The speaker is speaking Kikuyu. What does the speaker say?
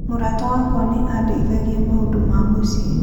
Mũrata wakwa nĩ aandeithagia maũndũ ma mũciĩ.